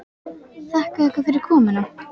Þakka ykkur fyrir komuna.